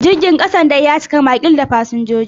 Jirgin kasan dai ya cika makil da fasinjoji.